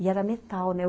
E era metal, né?